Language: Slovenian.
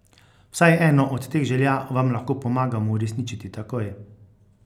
Vsaj eno od teh želja vam lahko pomagamo uresničiti takoj!